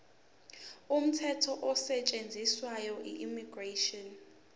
umthetho osetshenziswayo immigration